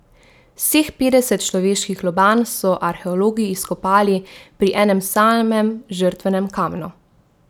Vseh petdeset človeških lobanj so arheologi izkopali pri enem samem žrtvenem kamnu.